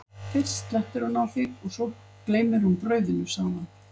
fyrst slettir hún á þig og svo gleymir hún brauðinu, sagði hann.